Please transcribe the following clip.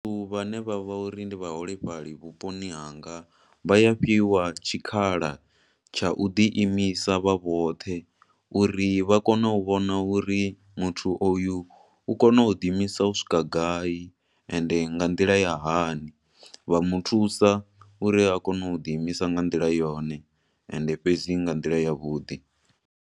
Vhathu vha ne vha vha uri ndi vhaholefhali vhuponi hanga vha a fhiwa tshikhala tsha u ḓi imisa vha vhoṱhe, uri vha kone u vhona uri muthu oyu u kona u dzi imisa u swika gai, ende nga nḓila ya hani. Vha muthusa uri a kone u ḓi imisa nga nḓila yone, ende fhedzi nga nḓila ya vhuḓi.